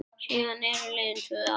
Síðan eru liðin tvö ár.